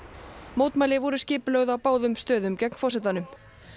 mótmæli voru skipulögð á báðum stöðum gegn forsetanum